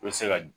I bɛ se ka